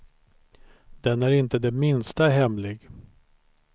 Den är inte det minsta hemlig.